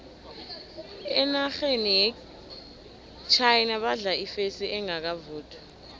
enarheni yechina badla ifesi engakavuthwa